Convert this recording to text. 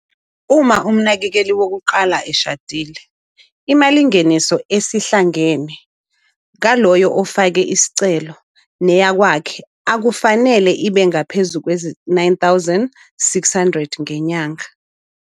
Uma umnakekeli wokuqala eshadile, imalingeniso esihlangene yaloyo ofaka isicelo neyowakwakhe akufanele ibe ngaphezu kwezi-R9 600 ngenyanga.